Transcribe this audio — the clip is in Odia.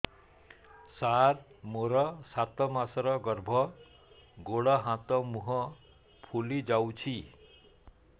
ସାର ମୋର ସାତ ମାସର ଗର୍ଭ ଗୋଡ଼ ହାତ ମୁହଁ ଫୁଲି ଯାଉଛି